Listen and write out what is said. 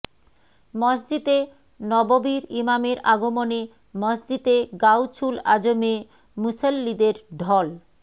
মসজিদে নববীর ইমামের আগমনে মসজিদে গাউছুল আজমে মুসল্লিদের ঢল